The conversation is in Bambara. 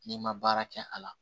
N'i ma baara kɛ a la